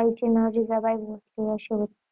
आईचे नाव जिजाबाई भोसले अशे होते. शिवाजींचे वडील शहाजी आणि आईचे नाव जिजाबाई असे होते.